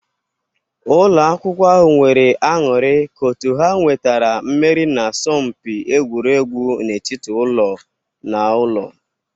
Ụlọ akwụkwọ ahụ nwere aṅụrị ka otu ha nwetara mmeri n'asọmpi egwuregwu n'etiti ụlọ naụlọ.